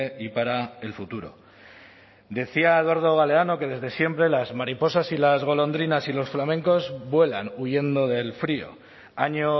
y para el futuro decía eduardo galeano que desde siempre las mariposas y las golondrinas y los flamencos vuelan huyendo del frío año